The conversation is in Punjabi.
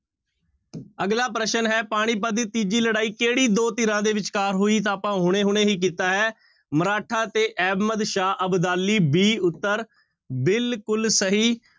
ਅਗਲਾ ਪ੍ਰਸ਼ਨ ਹੈ ਪਾਣੀਪੱਤ ਦੀ ਤੀਜੀ ਲੜਾਈ ਕਿਹੜੀ ਦੋ ਧਿਰਾਂ ਦੇ ਵਿਚਕਾਰ ਹੋਈ, ਤਾਂ ਆਪਾਂ ਹੁਣੇ ਹੁਣੇ ਹੀ ਕੀਤਾ ਹੈ ਮਰਾਠਾ ਤੇ ਅਹਿਮਦਸ਼ਾਹ ਅਬਦਾਲੀ b ਉੱਤਰ ਬਿਲਕੁਲ ਸਹੀ।